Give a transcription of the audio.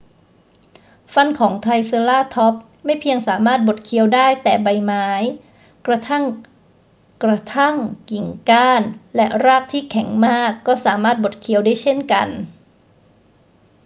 ฟันของไทรเซอราทอปส์ไม่เพียงสามารถบดเคี้ยวได้แต่ใบไม้ กระทั่งกระทั่งกิ่งก้านและรากที่แข็งมากก็สามารถบดเคี้ยวได้เช่นกัน